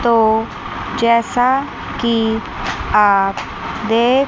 तो जैसा कि आप देख--